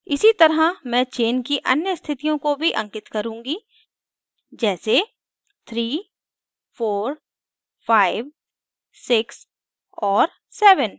इसी तरह chain chain की अन्य स्थितियों को भी अंकित करुँगी जैसे 3456 और 7